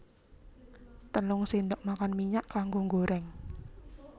Telung sendok makan minyak kanggo nggoreng